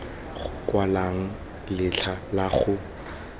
go kwalwang letlha la go